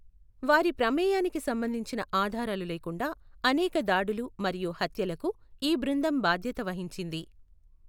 వారి ప్రమేయానికి సంబంధించిన ఆధారాలు లేకుండా, అనేక దాడులు మరియు హత్యలకు ఈ బృందం బాధ్యత వహించింది.